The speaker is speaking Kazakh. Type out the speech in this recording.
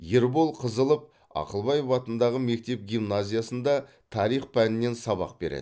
ербол қазылов ж ақылбаев атындағы мектеп гимназиясында тарих пәнінен сабақ береді